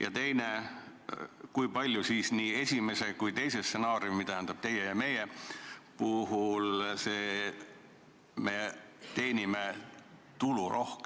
Ja teiseks: kui palju tulu me teenime nii esimese kui teise, nii teie kui meie stsenaariumi puhul?